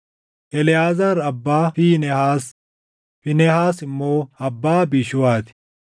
Eleʼaazaar abbaa Fiinehaas; Fiinehaas immoo abbaa Abiishuuwaa ti;